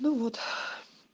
ну вот